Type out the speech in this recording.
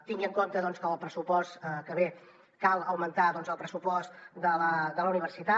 tingui en compte doncs que al pressupost que ve cal augmentar el pressupost de la universitat